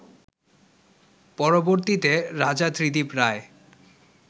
পরবর্তীতে রাজা ত্রিদিব রায়